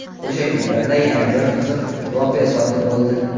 O‘sha kunlarda yana bir qiziq voqea sodir bo‘ldi.